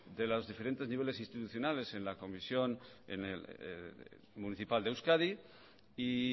de los diferentes niveles institucionales en la comisión municipal de euskadi y